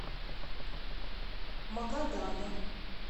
магадана